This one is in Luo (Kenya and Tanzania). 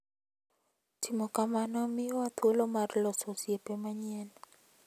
Timo kamano miyowa thuolo mar loso osiepe manyien.